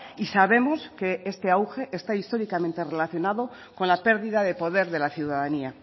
y sabemos que este auge está históricamente relacionado con la pérdida de poder de la ciudadanía